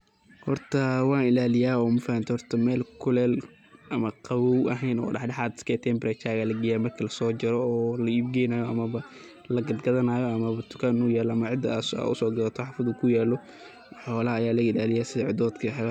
Hoorta wa ilaleyah mafahantay meel kulele camal qabaw dadaxat isgaeh temperature Aya lageyah marki la so karoh oo leegeynayoh amah lakatgathanayo amah ceeda lo so gathanayo wax kudaaw dul kuyaloh, xoolaha Aya laga ilaliyah setha cedoodka iyo wax lamit.